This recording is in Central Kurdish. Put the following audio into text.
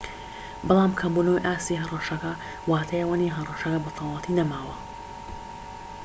بەڵام کەمبونەوەی ئاستی هەڕەشەکە واتای ئەوەنیە هەڕەشەکە بەتەواوەتی نەماوە